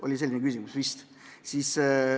Oli vist selline küsimus?